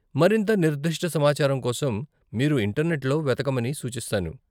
మరింత నిర్దిష్ట సమాచారం కోసం మీరు ఇంటర్నెట్లో వెతకమని సూచిస్తాను .